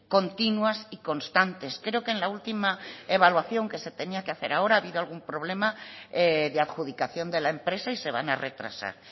continuas y constantes creo que en la última evaluación que se tenía que hacer ahora ha habido algún problema de adjudicación de la empresa y se van a retrasar